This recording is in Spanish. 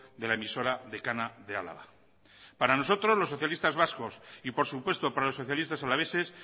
de la emisora decana de álava para nosotros los socialistas vascos y por supuesto para los socialistas alaveses